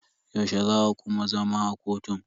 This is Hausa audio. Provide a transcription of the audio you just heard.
Yaushe za a kuma zama a kotun?